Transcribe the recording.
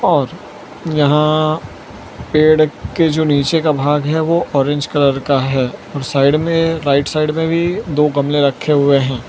और यहां पेड़ के जो नीचे का भाग है ओ ऑरेंज कलर का है और साइड में राइट साइड में भी दो गमले रखे हुए हैं।